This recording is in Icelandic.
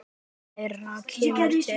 Fleira kemur til.